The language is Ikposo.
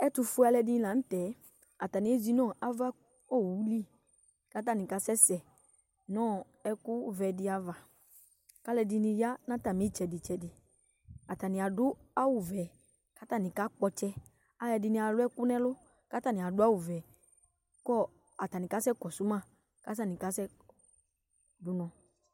Ɛtʋfʋe alʋɛdìní la ntɛ Atani ezi nʋ ava ayʋ owʋ li kʋ atani asɛsɛ nʋ ɛku vɛ di ava kʋ alʋɛdìní ya nʋ atami itsɛdi tsɛdi Atani adu awu vɛ kʋ atani kakpɔ ɔtsɛ Alʋɛdìní alu ɛku nʋ ɛlu kʋ atani adu awu vɛ kʋ atani kasɛ kɔsuma kʋ atani kasɛ du ʋnɔ